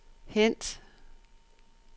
hent